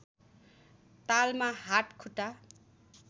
तालमा हात खुट्टा